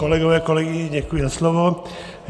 Kolegové, kolegyně, děkuji za slovo.